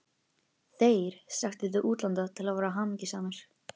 ÞEIR strekktu til útlanda til að vera hamingjusamir.